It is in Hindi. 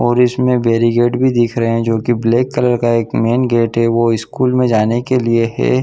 और इसमें बेरीगेट भी दिख रहै है जो की ब्लैक कलर का एक मेन गेट है वो स्कूल में जाने के लिए है।